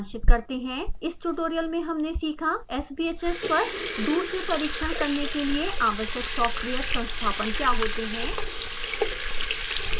इस ट्यूटोरियल में हमने सीखा: sbhs पर दूर से परीक्षण करने के लिए आवश्यक सॉफ्टवेयर संस्थापन क्या होते हैं